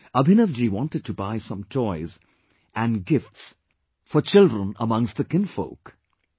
Abhinav ji wanted to buy some toys and gifts for children in the family...